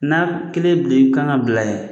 N'a kelen blen kan ka bila ye.